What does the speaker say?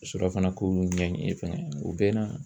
Surafana k'olu ɲɛɲini fana u bɛ na